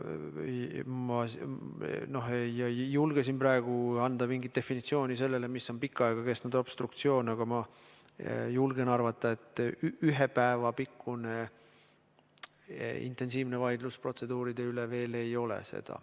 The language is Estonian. Ma ei julge siin praegu anda mingit definitsiooni selle kohta, mis on pikka aega kestnud obstruktsioon, aga ma julgen arvata, et ühe päeva pikkune intensiivne vaidlus protseduuride üle seda ei ole.